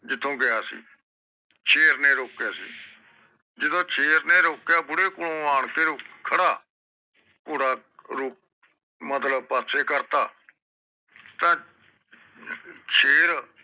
ਜਿਥੋਂ ਗਿਆ ਸੀ ਸ਼ੇਰ ਨੇ ਰੋਕਿਆ ਸੀ ਜਦੋ ਸ਼ੇਰ ਨੇ ਰੋਕਿਆ ਬੁੜ੍ਹੇ ਕੋਲ ਆਉਣ ਕੇ ਖਾਰਾ ਘੋੜਾ ਰੋਕ ਮਤਲਬ ਪਾਸੇ ਕਰਤਾ ਤਾ ਸ਼ੇਰ